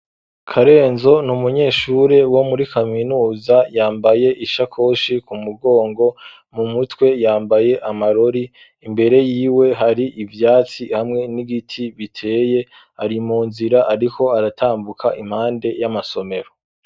Karenzo ni umunyeshure wo muri kaminuza yambaye ishakoshi ku mugongo, mu mutwe yambaye amarori, imbere yiwe hari ivyatsi hamwe n'igiti biteye, ari mu nzira ariko aratambuka impande y'amasomero.